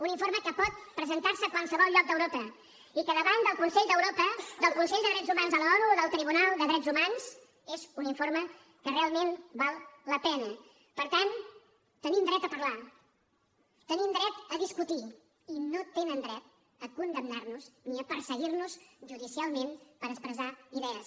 un informe que pot presentar se a qualsevol lloc d’europa i que davant del consell d’europa del consell de drets humans de l’onu o del tribunal de drets humans és un informe que realment val la pena per tant tenim dret a parlar tenim dret a discutir i no tenen dret a condemnar nos ni a perseguir nos judicialment per expressar idees